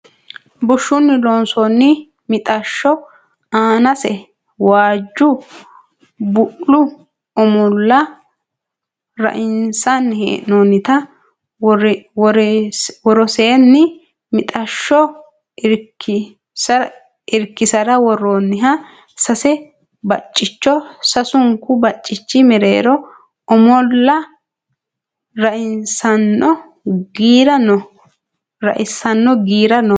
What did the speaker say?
Bushshunni loonsoonni mixashsho aanase waajju bu'lu omolla rainsanni hee'noonnita woroseenni mixashsho irkisara worroonniha sase baccicho sasunku bacci mereero omolla raissanno giira no